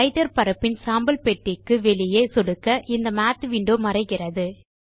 writer பரப்பின் சாம்பல் பெட்டிக்கு வெளியே சொடுக்க இந்த மாத் விண்டோ மறைகிறது